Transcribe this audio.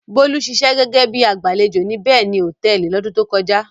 Bólú ṣiṣẹ́ gẹ́gẹ́ bí i agbàlejò ní Beni Hòtẹ́ẹ́lì lọ́dún tó kọjá.